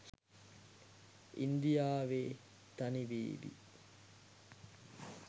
ඉන්දියාවෙ තනිවෙවි.